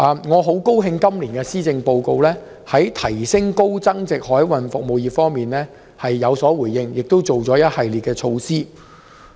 我很高興看到今年施政報告在提升高增值海運服務方面有所回應，並推出一系列措施。